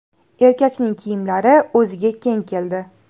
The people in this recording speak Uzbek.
Erkakning kiyimlari o‘ziga keng keldi.